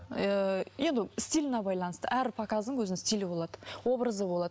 ыыы енді стиліне байланысты әр показдың өзінің стилі болады образы болады